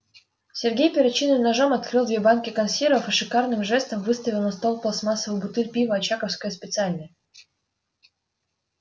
сергей перочинным ножом открыл две банки консервов и шикарным жестом выставил на стол пластмассовую бутыль пива очаковское специальное